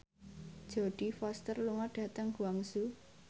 Jodie Foster lunga dhateng Guangzhou